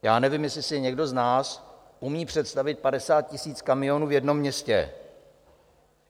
Já nevím, jestli si někdo z nás umí představit 50 000 kamionů v jednom městě.